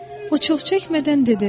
O çox çəkmədən dedi: